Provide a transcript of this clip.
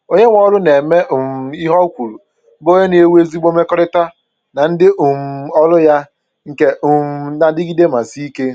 Onye nwe ọrụ na-eme um ihe o kwuru bụ onye na-ewu ezigbo mmekọrịta na ndị um ọrụ ya nke um na adịgide ma sie ike.